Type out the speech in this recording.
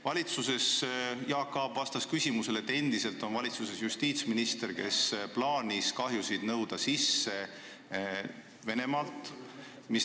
Valitsuses olles Jaak Aab vastas sellele küsimusele nii, et valitsuses on endiselt justiitsminister, kes on plaaninud kahjusid sisse nõuda Venemaalt.